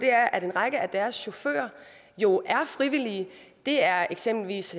er at en række af deres chauffører jo er frivillige det er eksempelvis